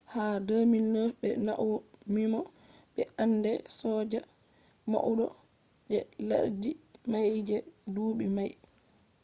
ha 2009 be maunimo be ende soja maudo je laddi mai je dubi mai